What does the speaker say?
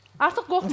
Artıq qorxmursuz.